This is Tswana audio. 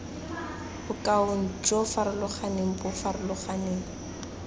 bokaong jo farologaneng bo farologaneng